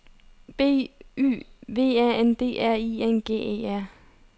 B Y V A N D R I N G E R